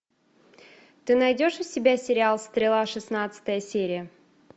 ты найдешь у себя сериал стрела шестнадцатая серия